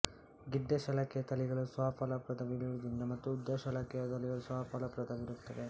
ಗಿಡ್ಡ ಶಲಾಕೆಯ ತಳಿಗಳು ಸ್ವಫಲಪ್ರದವಿರುವುದಿಲ್ಲ ಮತ್ತು ಉದ್ದ ಶಲಾಕೆಯ ತಳಿಗಳು ಸ್ವಫಲಪ್ರದವಿರುತ್ತವೆ